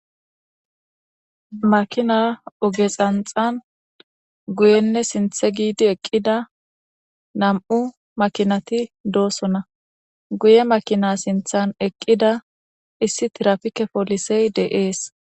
Makina oge xanxan guyenne sinthe giidi eqqida nam7u makinati doosona guye makina sinthan eqqida issi tirapike poolisey de7ees.